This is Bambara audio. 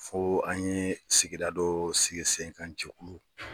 Fo an ye sigida dɔ sigi sen kan jɛkulu.